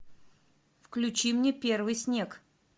включи мне первый снег